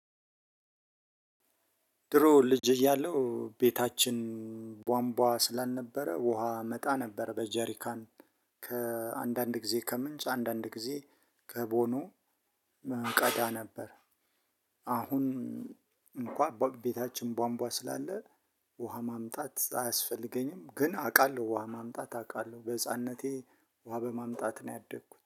ድሮ ልጅ እያለሁ ቤታችን ቧንቧ ስላልነበረ ውሃ አመጣ ነበር በጀሪካን። አንዳንድ ጊዜ ከምንጭ አንዳንድ ጊዜ ከቦኑ እቀዳ ነበር። አሁን እንኳን በቤታችን ባንቧ ስላለ። ውሃ ማምጣት አያስፈልገኝም ግን አውቃለሁ ውሃ ማምጣት አውቃለሁ በህፃንነቴ ውሃ በማምጣት ነው ያደኩት